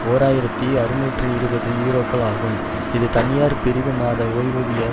ஓர் ஆயிரத்தி அறுநூற்று இருபது யூரோக்கள் ஆகும் இது தனியார் பிரிவு மாத ஓய்வூதிய